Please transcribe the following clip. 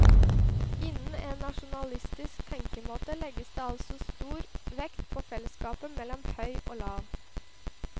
Innen en nasjonalistisk tenkemåte legges det altså stor vekt på fellesskapet mellom høy og lav.